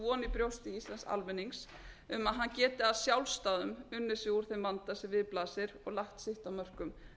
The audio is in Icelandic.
brjósti íslensks almennings um að hann geti að sjálfsdáðum unnið sig úr þeim vanda sem við blasir og lagt sitt af